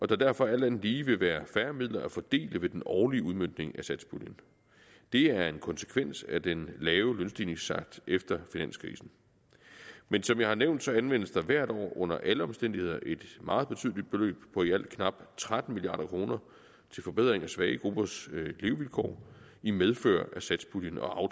der derfor alt andet lige vil være færre midler at fordele ved den årlige udmøntning af satspuljen det er en konsekvens af den lave lønstigningstakt efter finanskrisen men som jeg har nævnt anvendes der hvert år under alle omstændigheder et meget betydeligt beløb på i alt knap tretten milliard kroner til forbedring af svage gruppers levevilkår i medfør af satspuljen og